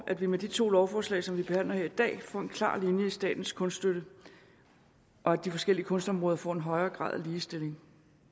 at vi med de to lovforslag som vi behandler her i dag får en klar linje i statens kunststøtte og at de forskellige kunstområder får en højere grad af ligestilling